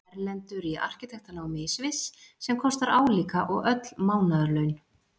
Erlendur í arkitektanámi í Sviss, sem kostar álíka og öll mánaðarlaun